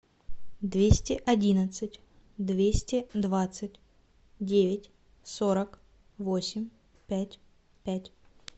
двести одиннадцать двести двадцать девять сорок восемь пять пять